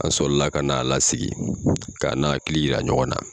An sɔli la ka n'a lasigi k'a n'a hakili yira ɲɔgɔn na.